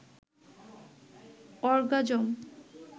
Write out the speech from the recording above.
orgasm